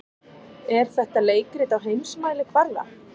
Er þetta leikrit á heimsmælikvarða?